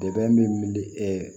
Dɛmɛ min